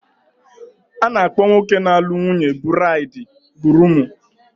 A na-akpọ nwoke na-alụ nwunye buraidi guruumu.